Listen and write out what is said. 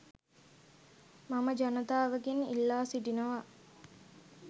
මම ජනතාවගෙන් ඉල්ලා සිටිනවා.